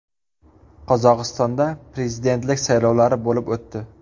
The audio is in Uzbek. Qozog‘istonda prezidentlik saylovlari bo‘lib o‘tdi.